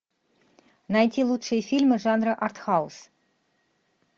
найти лучшие фильмы жанра арт хаус